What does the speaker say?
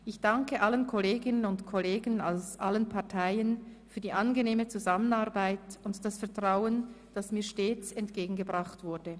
Ich danke allen Kolleginnen und Kollegen aus allen Parteien für die angenehme Zusammenarbeit und das Vertrauen, das mir stets entgegengebracht wurde.